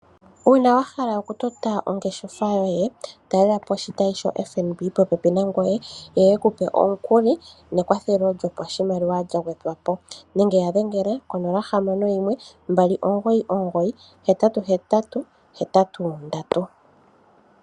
Uuna wa hala okutota ongeshefa yoye talelapo oshitayi sho FNB popepi nangoye yo yekupe omukuli nekwathelo lyopashimaliwa lya gwedhwapo nenge wu ya dhengela konola hamano yimwe mbali omugoyi omugoyi hetatu hetatu hetatu nondatu.